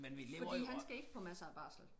Fordi han skal ikke på masser af barsel